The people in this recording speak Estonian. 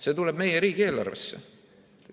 See tuleb meie riigieelarvesse.